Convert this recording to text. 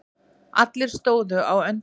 Allir stóðu á öndinni.